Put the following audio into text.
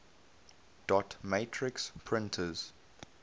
dot matrix printers